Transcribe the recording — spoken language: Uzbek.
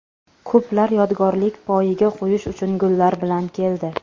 Ko‘plar yodgorlik poyiga qo‘yish uchun gullar bilan keldi.